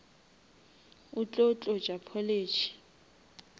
o tlo tlotša polish